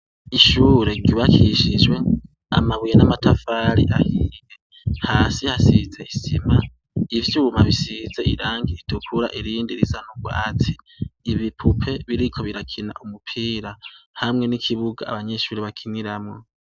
Ishure ryubakishijwe amabuye n’amatafari ahiye, hasi hasize isima, ivyuma bisize irangi ritukura irindi risa n’urwatsi. Ibipupe biriko birakina umupira hamwe n’ikibuga abanyeshure bakiniramwo.